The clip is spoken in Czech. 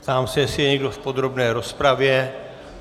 Ptám se, jestli je někdo v podrobné rozpravě.